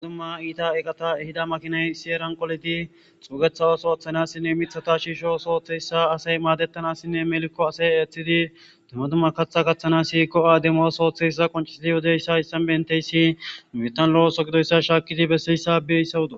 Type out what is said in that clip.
Uadumma iita eqata ehida makiney siyeran qoleti xuugetha ooso oththanassinne mithata shiisho sooththeyssa asay maadettanassinne melikko asay eeththidi dummadumma katha kaththana siyikko ademoo sooththeysaza qonciidi hodeyssa issa benteyssi mitan lo7oso gidoyssa shaakidi bessiyssabeeyssawudo